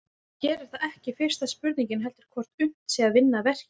En hér er það ekki fyrsta spurningin heldur hvort unnt sé að vinna verkið.